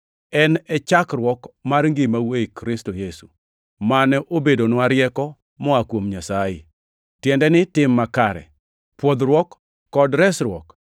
En e chakruok mar ngimau ei Kristo Yesu, mane obedonwa rieko moa kuom Nyasaye, tiende ni tim makare, pwodhruok, kod resruok.